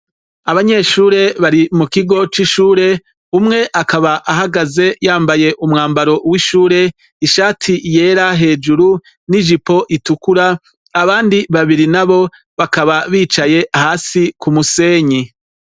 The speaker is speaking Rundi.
Abanyeshuri bari mu kigo c'ishuri umwe akaba hagaze yambaye umwambaro w'ishuri ishati yera hejuru n'ijipo itukura abandi babiri nabo bakaba bicaye hasi ku musenyi.